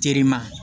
Terima